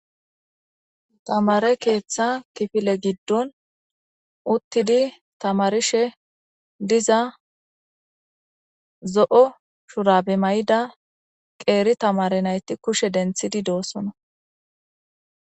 Tamare keeththa kifile giddon uttidi tamarishe diza zo'o shura be may'ida qeeri tamare nayti kushe denthidi doosona